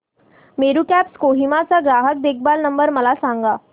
Meru cabs Kohima चा ग्राहक देखभाल नंबर मला सांगा